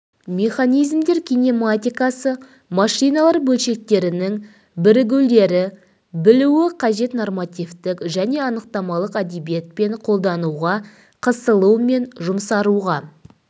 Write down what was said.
механизмдер кинематикасы машиналар бөлшектерінің бірігулері білуі қажет нормативтік және анықтамалық әдебиетпен қолдануға қысылу мен жұмсаруға